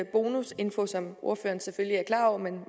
bonusinfo som ordføreren selvfølgelig er klar over men